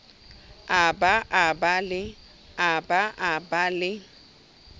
a ba a ba le